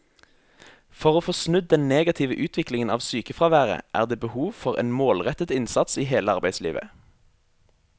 For å få snudd den negative utviklingen av sykefraværet er det behov for en målrettet innsats i hele arbeidslivet.